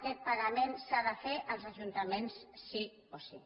aquest pagament s’ha de fer als ajuntaments sí o sí